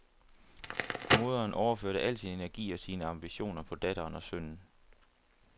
Moderen overførte al sin energi og sine ambitioner på datteren og sønnen.